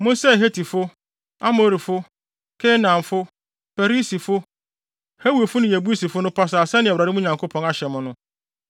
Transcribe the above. Monsɛe Hetifo, Amorifo, Kanaanfo, Perisifo, Hewifo ne Yebusifo no pasaa sɛnea Awurade, mo Nyankopɔn no, ahyɛ mo no.